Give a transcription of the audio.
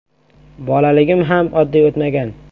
Bolaligim ham oddiy o‘tmagan.